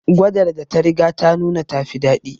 Gwadar da ta riga ta nuna ta fi dadi